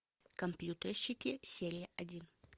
компьютерщики серия один